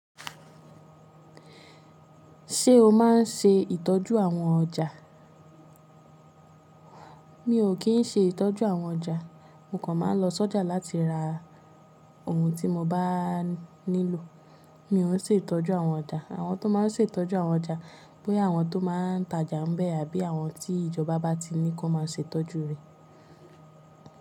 Ṣé o máa ń ṣe ìtọ́jú àwọn ọjà? Mi ò kí ń ṣe ìtọ́jú àwọn ọjà, mo kàn máa ń lọ sọ́jà láti ra ohun tí mo bá nílò. Mi o n se itọju awọn ọja. Àwọn tó máa ń ṣe ìtọ́jú àwọn ọjà, bóyá àwọn tó máa ń tajà ń bẹ àbí àwọn tí ìjọba bá ti ní kó máa ṣe ìtọ́jú rẹ̀.